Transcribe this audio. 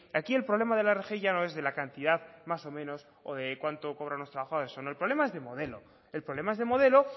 aquí el problema de la rgi ya no es de la cantidad más o menos o de cuánto cobran los trabajadores o no el problema es de modelo el problema es de modelo